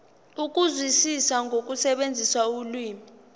ukuzwisisa nokusebenzisa ulimi